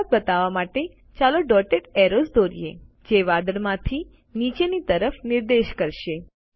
વરસાદ બતાવવા માટે ચાલો ડોટેડ એરોઝ દોરીએ જે વાદળ માંથી નીચેની તરફ નિર્દેશ કરશે